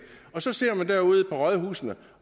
og så sidder man derude på rådhusene